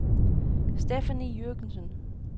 Stephanie Jürgensen